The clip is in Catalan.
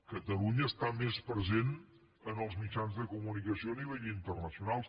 catalunya està més present en els mitjans de comunicació a nivell internacional